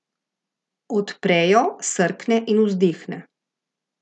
Odpre jo, srkne in vzdihne.